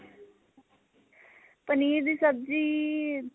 ਪਨੀਰ ਦੀ ਸਬਜੀ